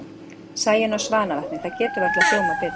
Sæunn á Svanavatni, það getur varla hljómað betur.